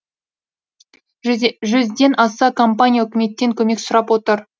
жүзден аса компания үкіметтен көмек сұрап отыр